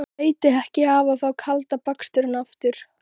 Það er alltaf eitthvað, blessuð góða.